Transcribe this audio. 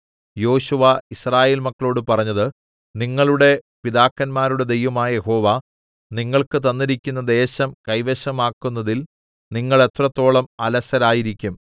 യോശുവ യിസ്രായേൽ മക്കളോട് പറഞ്ഞത് നിങ്ങളുടെ പിതാക്കന്മാരുടെ ദൈവമായ യഹോവ നിങ്ങൾക്ക് തന്നിരിക്കുന്ന ദേശം കൈവശമാക്കുന്നതിൽ നിങ്ങൾ എത്രത്തോളം അലസരായിരിക്കും